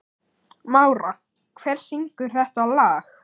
Mára, hver syngur þetta lag?